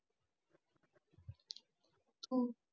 हम्म